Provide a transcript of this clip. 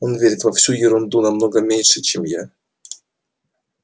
он верит во всю эту ерунду намного меньше чем я